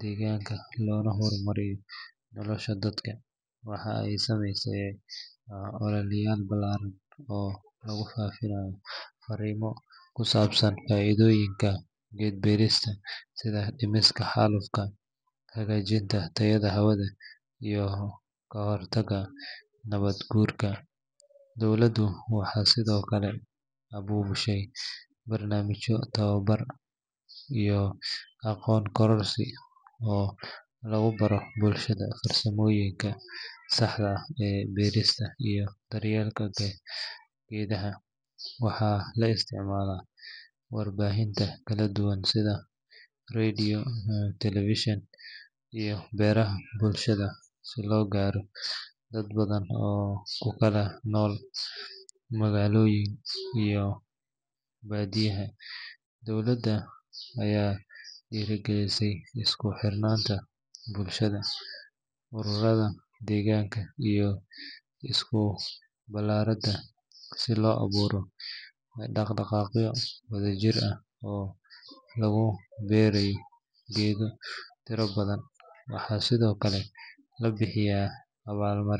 deegaanka loona horumariyo nolosha dadka. Waxa ay sameeyaan ololeyaal ballaaran oo lagu faafinayo fariimo ku saabsan faa’iidooyinka geed beerista sida dhimista xaalufka, hagaajinta tayada hawada, iyo ka hortagga nabaad guurka. Dowladdu waxay sidoo kale abaabushaa barnaamijyo tababar iyo aqoon kororsi ah oo lagu baro bulshada farsamooyinka saxda ah ee beerista iyo daryeelka geedaha. Waxaa la isticmaalayaa warbaahinta kala duwan sida radio, telefishin, iyo baraha bulshada si loo gaaro dad badan oo ku kala nool magaalooyin iyo baadiyaha. Dowladda ayaa dhiirrigelisa isku xirnaanta bulshada, ururada deegaanka, iyo iskuulada si loo abuuro dhaqdhaqaaqyo wadajir ah oo lagu beerayo geedo tiro badan. Waxaa sidoo kale la bixiyaa abaalmarino.